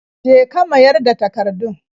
Je ka mayar da takardun.